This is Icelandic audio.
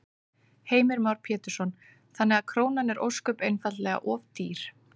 Heimir Már Pétursson: Þannig að krónan er ósköp einfaldlega of dýr?